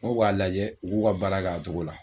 N k'o k'a lajɛ u k'u ka baara kɛ a togo la